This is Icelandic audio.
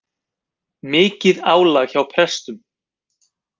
Mikið álag hjá prestum